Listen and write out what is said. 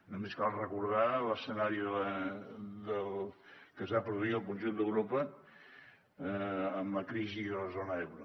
només cal recordar l’escenari que es va produir al conjunt d’europa amb la crisi de la zona euro